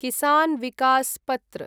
किसान् विकस् पत्र